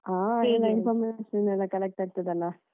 ಹಾಗೆ ವಿಷಯ ಎಲ್ಲ collect ಆಗ್ತದೆ ಅಲಾ.